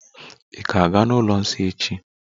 Ị̀ ga-aga n'ụlọ nsọ echi?